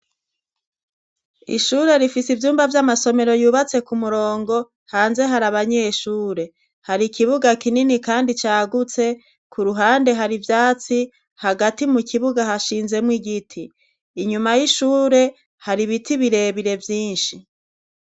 Ishure rifise ivyumba vy'amasomero yubatse ku murongo hanze hari abanyeshure hari ikibuga kinini kandi cagutse ku ruhande hari ivyatsi hagati mu kibuga hashinzemo igiti inyuma y'ishure hari biti birebire vyinshi.